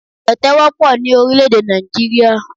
Tẹ̀tẹ̀ wọ́pọ̀ ní orílr̀-èdè Nàìjíríà.